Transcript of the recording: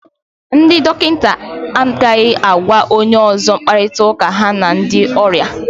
Ndị dọkịnta, agaghị agwa onye ọzọ mkparịtaụ́ká ha na ndị ọrịa